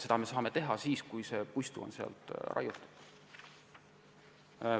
Seda saame teha siis, kui puistu on raiutud.